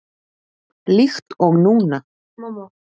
Líkt og núna.